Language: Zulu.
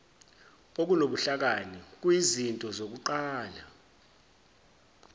okunobuhlakani kuyizinto zokuqala